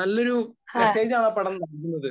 നല്ലൊരു മെസ്സേജാണ് ആ പടം നൽകുന്നത്.